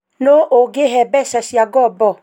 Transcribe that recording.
nũ ungihe mbeca cia ngobo?